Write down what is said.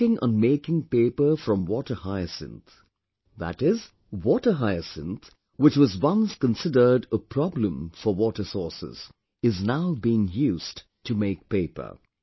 They are working on making paper from water hyacinth, that is, water hyacinth, which was once considered a problem for water sources, is now being used to make paper